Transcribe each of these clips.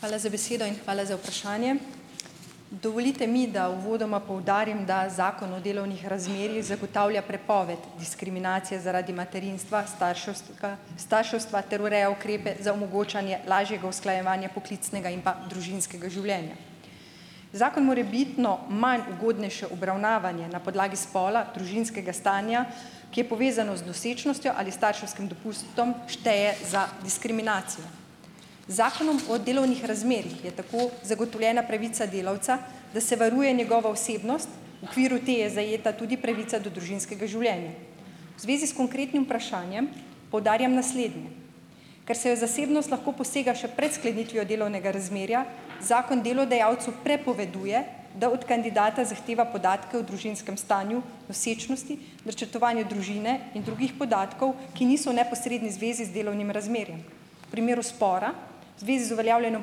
Hvala za besedo in hvala za vprašanje. Dovolite mi, da uvodoma poudarim, da Zakon o delovnih razmerjih zagotavlja prepoved diskriminacije zaradi materinstva, staršeustka starševstva ter ureja ukrepe za omogočanje lažjega usklajevanja poklicnega in pa družinskega življenja. Zakon morebitno manj ugodnejše obravnavanje na podlagi spola, družinskega stanja, ki je povezano z nosečnostjo ali starševskim dopustom, šteje za diskriminacijo. Zakonom o delovnih razmerjih je tako zagotovljena pravica delavca, da se varuje njegovo osebnost - v okviru te je zajeta tudi pravica do družinskega življenja. V zvezi s konkretnim vprašanjem poudarjam naslednje. Ker se v zasebnost lahko posega še pred sklenitvijo delovnega razmerja, zakon delodajalcu prepoveduje, da od kandidata zahteva podatke o družinskem stanju, nosečnosti, načrtovanju družine in drugih podatkov, ki niso v neposredni zvezi z delovnim razmerjem. Primeru spora zvezi z uveljavljanjem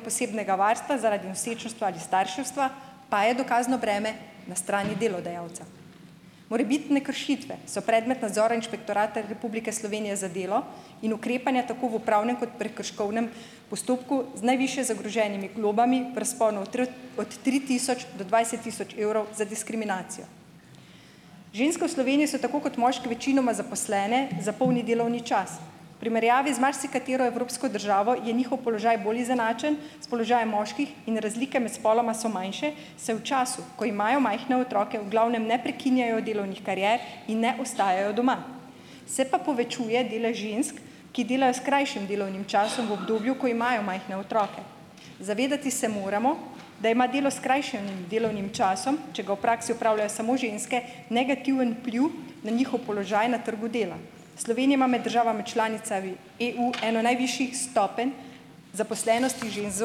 posebnega varstva zaradi nosečnostva ali starševstva pa je dokazno breme na strani delodajalca. Morebitne kršitve so predmet nadzora Inšpektorata Republike Slovenije za delo in ukrepanja tako v upravnem kot prekrškovnem postopku z najvišje zagroženimi globami prsponu od tri tisoč do dvajset tisoč evrov za diskriminacijo. Ženske v Sloveniji so tako kot moški večinoma zaposlene za polni delovni čas. Primerjavi z marsikatero evropsko državo je njihov položaj bolj izenačen s položajem moških in razlike med spoloma so manjše, saj v času, ko imajo majhne otroke, v glavnem ne prekinjajo delovnih karier in ne ostajajo doma. Se pa povečuje delež žensk, ki delajo s krajšim delovnim časom v obdobju, ko imajo majhne otroke. Se moramo zavedati, da ima delo s skrajšanim delovnim časom - če ga v praksi opravljajo samo ženske - negativen vpliv na njihov položaj na trgu dela. Slovenija ima med državami članicami EU eno najvišjih stopenj zaposlenosti žensk z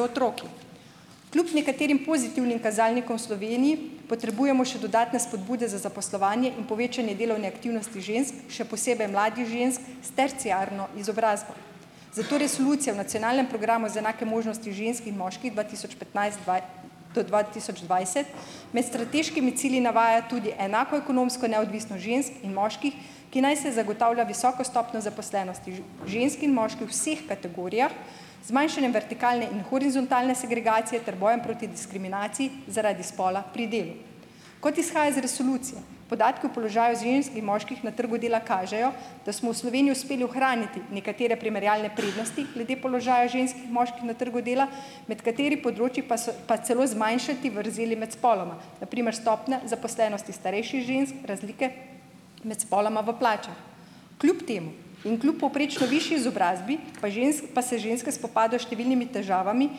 otroki. Kljub nekaterim pozitivnim kazalnikom v Sloveniji potrebujemo še dodatne spodbude za zaposlovanje in povečanje delovne aktivnosti žensk, še posebej mladih žensk s terciarno izobrazbo. Zato Resolucija v nacionalnem programu za enake možnosti žensk in moških dva tisoč petnajst dva do dva tisoč dvajset med strateškimi cilji navaja tudi enako ekonomsko neodvisnost žensk in moških, ki naj se zagotavlja visoko stopnjo zaposlenosti žensk in moških vseh kategorijah z zmanjšanjem vertikalne in horizontalne segregacije ter bojem proti diskriminaciji zaradi spola pri delu. Kot izhaja iz resolucije, podatki o položaju žensk in moških na trgu dela kažejo, da smo v Sloveniji uspeli ohraniti nekatere primerjalne prednosti glede položaja žensk in moških na trgu dela, med kateri področji pa so pa celo zmanjšati vrzeli med spoloma - na primer stopnja zaposlenosti starejših žensk, razlike med spoloma v plačah. Kljub temu in kljub povprečno višji izobrazbi pa pa se ženske spopadajo s številnimi težavami,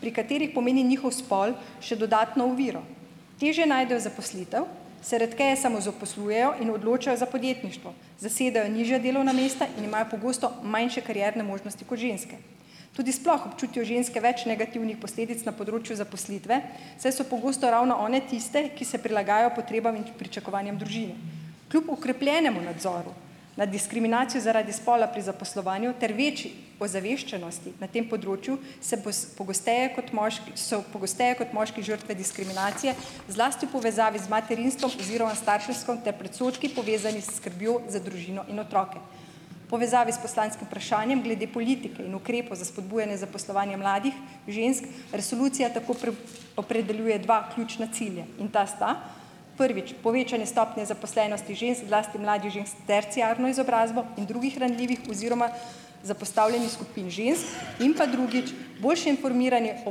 pri katerih pomeni njihov spol še dodatno oviro. Težje najdejo zaposlitev, se redkeje samozaposlujejo in odločajo za podjetništvo, zasedajo nižja delovna mesta in imajo pogosto manjše karierne možnosti kot ženske. Tudi sploh občutijo ženske več negativnih posledic na področju zaposlitve, saj so pogosto ravno one tiste, ki se prilagajajo potrebam in pričakovanjem družine. Kljub okrepljenemu nadzoru nad diskriminacijo zaradi spola pri zaposlovanju ter večji ozaveščenosti na tem področju se pogosteje kot so pogosteje kot moški žrtve diskriminacije, zlasti v povezavi z materinstvom oziroma starševstvom ter predsodki, povezani s skrbjo za družino in otroke. Povezavi s poslanskim vprašanjem glede politike in ukrepov za spodbujanje zaposlovanje mladih žensk, resolucija tako opredeljuje dva ključna cilja. In ta sta - prvič, povečanje stopnje zaposlenosti žensk, zlasti mladih žensk s terciarno izobrazbo in drugih ranljivih oziroma zapostavljenih skupin žensk. In pa drugič - boljše informiranje o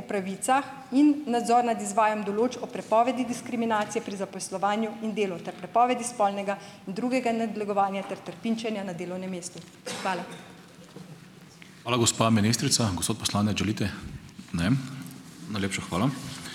pravicah in nadzor nad izvajam določb o prepovedi diskriminacije pri zaposlovanju in delu ter prepovedi spolnega in drugega nadlegovanja ter trpinčenja na delovnem mestu. Hvala.